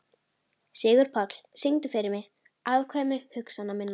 Sigurpáll, syngdu fyrir mig „Afkvæmi hugsana minna“.